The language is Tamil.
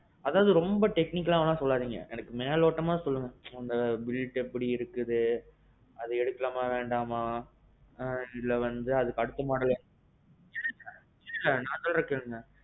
அதாவது ரொம்ப technicalஆ எல்லாம் சொல்லாதீங்க. மேலோட்டமா சொல்லுங்க அந்த build எப்பிடி இருக்குது, அதே எடுக்கலாமா வேண்டாமா, இல்ல வந்து அதுக்கு அடுத்த model எடுக்கலாமா. நான் சொல்றேன் கேளுங்க.